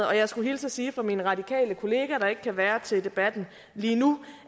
og jeg skulle hilse og sige fra min radikale kollega der ikke kan være med til debatten lige nu